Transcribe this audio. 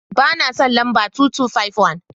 Ba na son lamba 2251.